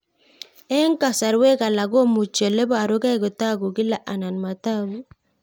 Eng' kasarwek alak komuchi ole parukei kotag'u kila anan matag'u